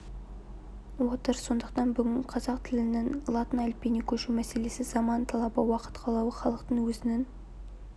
отыр сондықтан бүгінгі қазақ тілінің латын әліпбиіне көшу мәселесі заман талабы уақыт қалауы халықтың өзінің